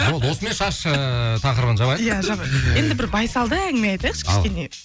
болды осымен шаш ыыы тақырыбын жабайық иә жабайық енді бір байсалды әңгіме айтайықшы кішкене